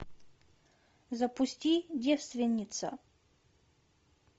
запусти девственница